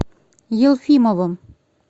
елфимовым